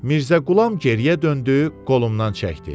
Mirzə Qulam geriyə döndü, qolumdan çəkdi.